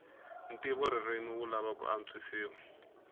ntivoririmi wu lava ku antswisiwa